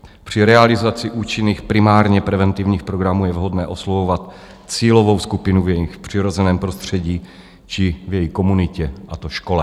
Při realizaci účinných primárně preventivních programů je vhodné oslovovat cílovou skupinu v jejich přirozeném prostředí či v jejich komunitě, a to škole.